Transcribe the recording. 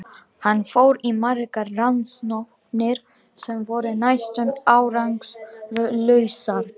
Hann fór í margar rannsóknir sem voru næstum árangurslausar.